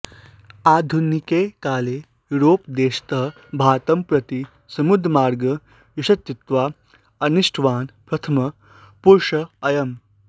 आधुनिके काले युरोप्देशतः भारतं प्रति समुद्रमार्गं यशस्वितया अन्विष्टवान् प्रथमः पुरुषः अयम्